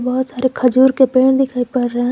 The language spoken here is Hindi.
बहुत सारे खजूर के पेड़ दिखाई पड़ रहा है।